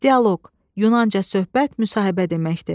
Dialoq, yunanca söhbət, müsahibə deməkdir.